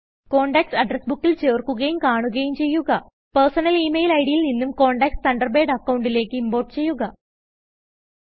contacts address ബുക്കിൽ ചേർക്കുകയും കാണുകയും ചെയ്യുക പെർസണൽ ഇമെയിൽ ഇഡ് ൽ നിന്നും കോണ്ടക്ട്സ് തണ്ടർബേഡ് അക്കൌണ്ടിലേക്ക് ഇംപോർട്ട് ചെയ്യുക